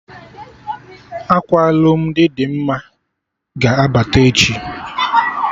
Akwa alụmdi Dimma ga-abata echi